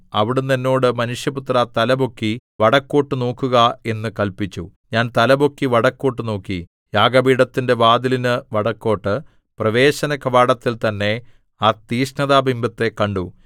അവിടുന്ന് എന്നോട് മനുഷ്യപുത്രാ തലപൊക്കി വടക്കോട്ടു നോക്കുക എന്ന് കല്പിച്ചു ഞാൻ തലപൊക്കി വടക്കോട്ടു നോക്കി യാഗപീഠത്തിന്റെ വാതിലിനു വടക്കോട്ട് പ്രവേശനകവാടത്തിൽ തന്നെ ആ തിക്ഷ്ണതാബിംബത്തെ കണ്ടു